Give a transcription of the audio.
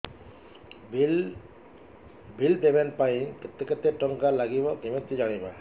bill payment ପାଇଁ କେତେ କେତେ ଟଙ୍କା ଲାଗିବ କେମିତି ଜାଣିବି